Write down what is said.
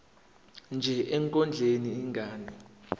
nje ekondleni ingane